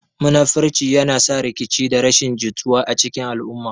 Munafurci yana sa rikici da rashin jituwa a cikin al'umma.